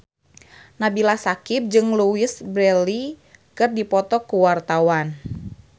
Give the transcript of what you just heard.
Nabila Syakieb jeung Louise Brealey keur dipoto ku wartawan